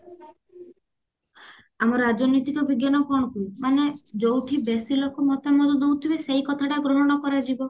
ଆମ ରାଜନୈତିକ ବିଜ୍ଞାନ କଣ କୁହେ ମାନେ ଯୋଉଠି ବେଶୀ ଲୋକ ମତାମତ ଦଉଥିବେ ସେ କଥା ଟା ଗ୍ରହଣ କରାଯିବ